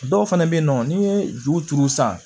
Dɔw fɛnɛ be yen nɔ n'i ye juru turu san